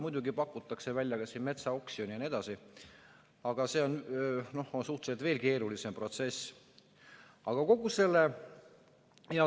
Muidugi pakutakse välja kas või metsaoksjon jne, aga see on suhteliselt veel keerulisem protsess.